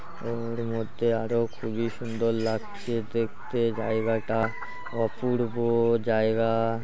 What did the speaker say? ওর মধ্যে আরো খুবই সুন্দর লাগছে দেখতে জায়গাটা অপুর্ব-ও জায়গা